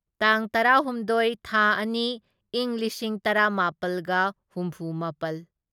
ꯇꯥꯡ ꯇꯔꯥꯍꯨꯝꯗꯣꯢ ꯊꯥ ꯑꯅꯤ ꯢꯪ ꯂꯤꯁꯤꯡ ꯇꯔꯥꯃꯥꯄꯜꯒ ꯍꯨꯝꯐꯨꯃꯥꯄꯜ